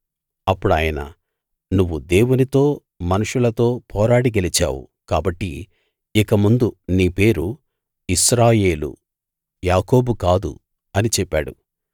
అప్పుడాయన నువ్వు దేవునితో మనుషులతో పోరాడి గెలిచావు కాబట్టి ఇక ముందు నీ పేరు ఇశ్రాయేలు యాకోబు కాదు అని చెప్పాడు